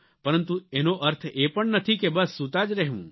પરંતુ એનો અર્થ એ પણ નથી કે બસ સૂતા જ રહેવું